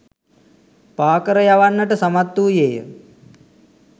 පාකර යවන්නට සමත් වූයේය.